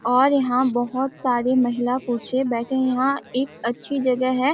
और यहाँ बहोत सारे महिला पुछे बैठे है यहाँ एक अच्छी जगह है।